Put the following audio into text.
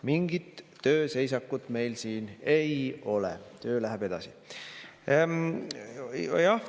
Mingit tööseisakut meil siin ei ole, töö läheb edasi.